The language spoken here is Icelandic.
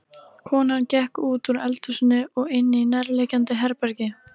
Konan gekk útúr eldhúsinu og inní nærliggjandi herbergi.